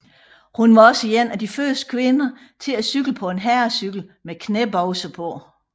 Hun var også en af de første kvinder til at cykle på en herrecykel med knæbukser på